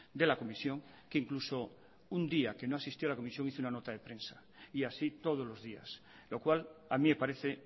de la comisión que incluso un día que no asistió a la comisión hizo una nota de prensa y así todos los días lo cual a mí me parece